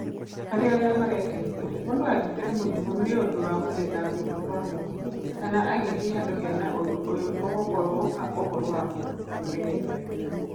Harĩ arĩa marekenia, mũndu anyitwo nĩ mũrimũ nĩundũ wa gucerera kũndũ kwa mũingĩ kana agĩthiĩ handũ hena ũndũ ũyũ ũgũkorwo ũhoro wa mũndũ kũĩmenyerera we kĩũmbe.